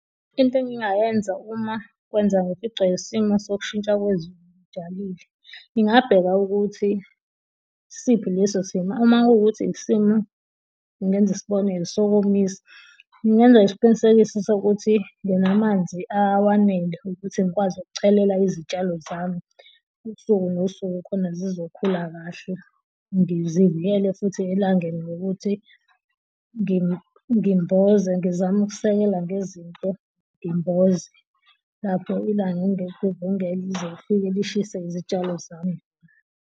Into engingayenza uma kwenzeka ngificwa isimo sokushintsha kwezinye ngijalile, ngingabheka ukuthi isiphi leso simo uma kuwukuthi isimo ngingenza isibonelo sokumisa ngenze isiqinisekiso sokuthi nganamanzi awanele ukuthi ngikwazi ukuchelela izitshalo zami usuku nosuku khona zizokhula kahle, ngizivulele futhi elangeni ngokuthi ngimboze, ngizame ukusekela ngezinto ngimboze, lapho ilanga engeke lize lishise izitshalo zami.